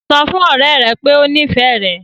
Sọ fún ọ̀rẹ́ rẹ pé o nífẹ̀ẹ́ rẹ̀!